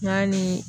N y'a nii